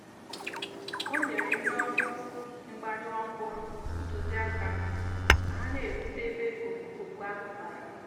o nyere ndị ọrụ mgbanyụ ọkụ ahụ ntụziaka ka ha na-erute ebe ọkụ ahụ gbara.